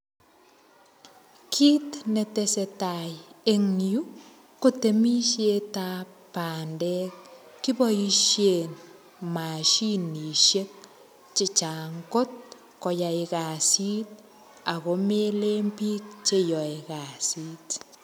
Kit netesetai eng yu kotemisiet ab bandek. Kiboisien mashinisiek che chang kot koyai kasit ago melen biik cheyoe kasit.